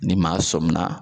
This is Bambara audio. Ni maa sɔmina